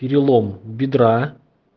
перелом бедра